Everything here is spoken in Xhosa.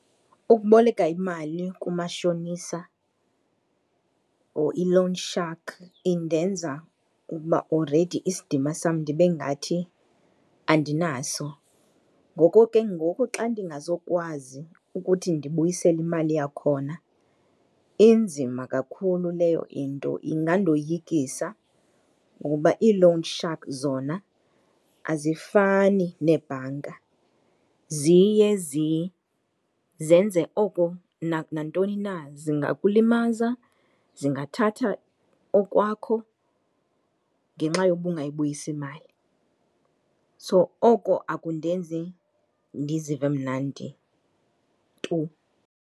Ukuboleka imali kumashonisa or i-loan shark indenza ukuba already isidima sam ndibe ngathi andinaso. Ngoku ke ngoku xa ndingazokwazi ukuthi ndibuyisele imali yakhona inzima kakhulu leyo into, ingandoyikisa ngoba ii-loan shark zona azifani neebhanka, ziye zenze oko nantoni na, zingakulimaza, zingathatha okwakho ngenxa yoba ungayibuyisi imali. So oko akundenzi ndizive mnandi tu.